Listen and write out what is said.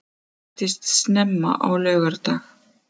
Hann veiktist snemma á laugardag